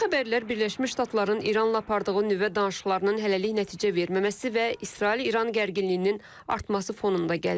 Bu xəbərlər Birləşmiş Ştatların İranla apardığı nüvə danışıqlarının hələlik nəticə verməməsi və İsrail İran gərginliyinin artması fonunda gəlir.